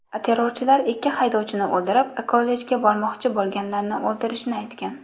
Terrorchilar ikki haydovchini o‘ldirib, kollejga bormoqchi bo‘lganlarni o‘ldirishini aytgan.